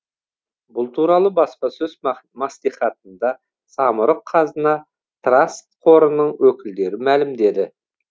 бұл туралы баспасөз мәслихатында самұрық қазына траст қорының өкілдері мәлімдеді